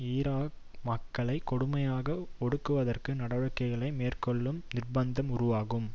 Iraq மக்களை கொடுமையாக ஒடுக்குவதற்கு நடவடிக்கைகளை மேற்கொள்ளும் நிர்ப்பந்தம் உருவாகும்